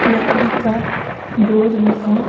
लकड़ी का डोर भी है।